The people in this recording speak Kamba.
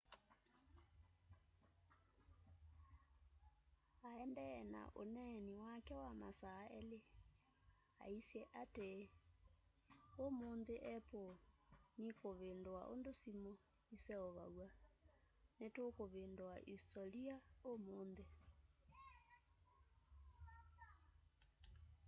aendee na ũneeni wake wa masaa eli aisye atii ũmunthi apple nikuvindua undu simu iseuvaw'a nitukuvindua isitolia umunthi